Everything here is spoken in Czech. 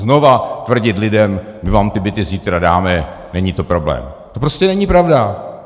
Znova tvrdit lidem "my vám ty byty zítra dáme, není to problém", to prostě není pravda.